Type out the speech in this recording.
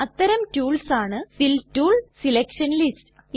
അത്തരം ടൂൾസ് ആണ് fill tool selection lists